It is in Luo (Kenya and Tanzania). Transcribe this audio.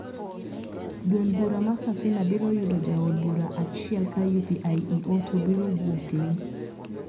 Duond bura mar Safina biro yudo jaod bura achiel ka UPIEO to biro wuok lii.